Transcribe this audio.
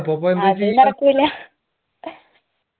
അതും നടക്കൂലാഹ്